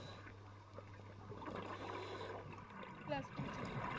Plus-two ਚ ਜੀ।